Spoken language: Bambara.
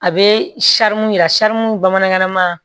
A bɛ yira bamanankan na ma